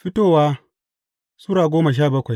Fitowa Sura goma sha bakwai